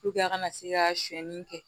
a kana se ka sɔɔni kɛ